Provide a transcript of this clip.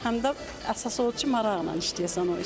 Həm də əsas odur ki, maraqla işləyəsən o işi.